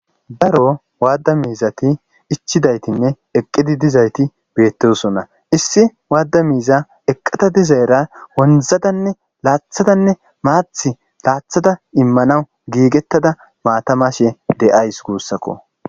Daro wada miizati ichidautinne eqidi dizayti betosona issi wada miziya eqada dizara loythadanne wonzadanne Mathi loythada imanaw gigetadanneaata mashe de'awsgusako